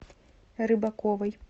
рыбаковой